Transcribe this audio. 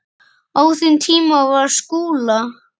Á þeim tíma var Skúla